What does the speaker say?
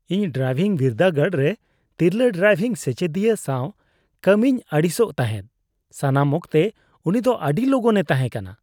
ᱤᱧ ᱰᱨᱟᱭᱵᱷᱤᱝ ᱵᱤᱨᱫᱟᱹᱜᱟᱲ ᱨᱮ ᱛᱤᱨᱞᱟᱹ ᱰᱨᱟᱭᱵᱷᱤᱝ ᱥᱮᱪᱮᱫᱤᱭᱟᱹ ᱥᱟᱶ ᱠᱟᱹᱢᱤᱧ ᱟᱹᱲᱤᱥᱟᱜ ᱛᱟᱦᱮᱫ ᱾ ᱥᱟᱱᱟᱢ ᱚᱠᱛᱮ ᱩᱱᱤ ᱫᱚ ᱟᱹᱰᱤ ᱞᱚᱜᱚᱱ ᱮ ᱛᱟᱦᱮᱸ ᱠᱟᱱᱟ ᱾